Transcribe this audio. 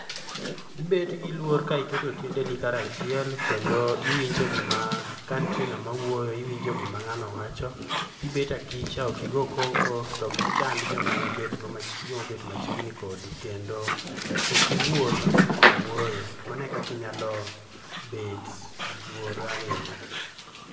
Ibet gi luor ka iketo tiendeni kar achiel kendo iwinjo gima ka nitie nga'ma wuoyo iwinjo gim ng'ano wacho, ibet akich ok igo koko to ok ichand joma obet machiegni kodi kendo ok iwuo sama ngato wuoyo ,mano e kaka inyalo bet gi luor ahinya.